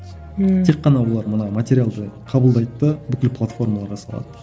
ммм тек қана олар мына материалды қабылдайды да бүкіл платформалар жасалады